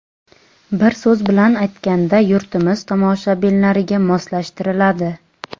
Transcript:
Bir so‘z bilan aytganda, yurtimiz tomoshabinlariga moslashtiriladi.